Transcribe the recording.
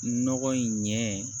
Nɔgɔ in ɲɛ